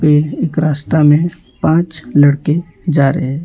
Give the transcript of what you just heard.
एक रास्ता में पाँच लड़के जा रहे हैं।